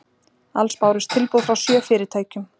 Alls bárust tilboð frá sjö fyrirtækjum